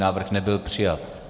Návrh nebyl přijat.